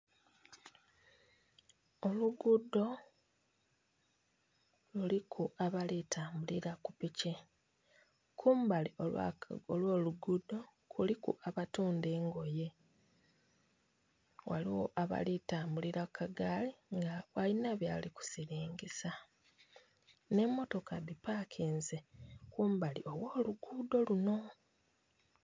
Oluguudho luliku abalitambulira kupiki kumbali ogho luguudo kuliku abatunda engoye ghaligho abalitambulira kukagali nga balina byebalisiringisa nhemitoka dipakinze kumbali ogholugudo luno